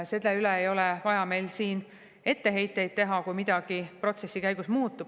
Meil siin ei ole vaja etteheiteid teha, kui midagi protsessi käigus muutub.